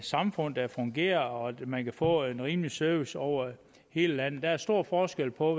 samfund der fungerer og at man kan få en rimelig service over hele landet der er stor forskel på